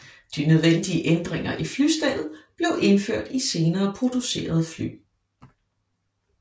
De nødvendige ændringer i flystellet blev indført i senere producerede fly